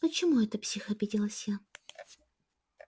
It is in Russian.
почему это псих обиделась я